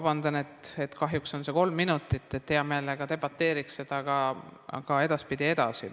Palun vabandust, kahjuks on mul vaid kolm minutit, hea meelega debateeriks selle üle ka edaspidi.